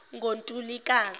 ngontulikazi